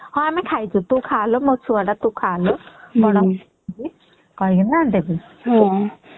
ହଁ ଆମେ ଖାଇଛୁ ତୁ ଛଡା ତ ଖା ଲୋ କଣ କରିବୁ କହି କିନା ଦେବେ ହୁଁ